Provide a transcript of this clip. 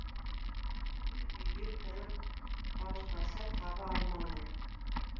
үй үйге кіріп дауыстаса таба алмады